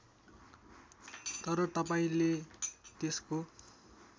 तर तपाईँंले त्यसको